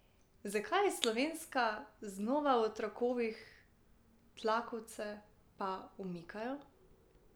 Zakaj je Slovenska znova v trakovih, tlakovce pa umikajo?